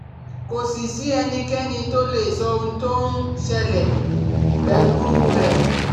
Kò sì sí ẹnikẹ́ni tó lè sọ ohun tó ń ń ṣẹlẹ̀ pẹ̀lú u rẹ̀